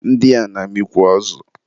ndị a na-amịkwu azụ.